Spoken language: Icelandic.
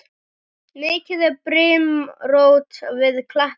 Mikið er brimrót við kletta.